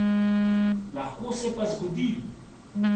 Lahko se pa zgodi.